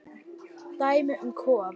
Dæmi um kóða